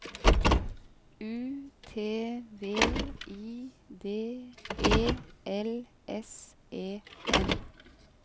U T V I D E L S E N